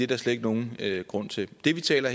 der slet ikke nogen grund til det vi taler